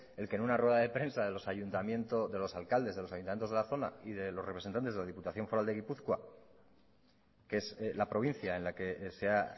el que en una rueda de prensa de los alcaldes de los ayuntamientos de la zona y de los representantes de la diputación foral de gipuzkoa que es la provincia en la que se ha